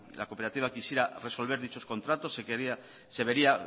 la cooperativa quisiera resolver dichos contratos se vería